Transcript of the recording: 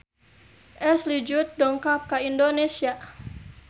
Ashley Judd dongkap ka Indonesia